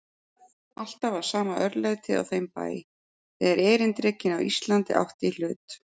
Alltaf var sama örlætið á þeim bæ, þegar erindrekinn á Íslandi átti í hlut.